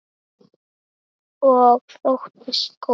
Og þóttist góð.